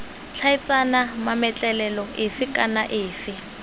tlhaeletsana mametlelelo efe kana efe